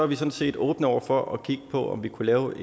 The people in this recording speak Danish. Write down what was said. vi sådan set åbne over for at kigge på om vi kunne lave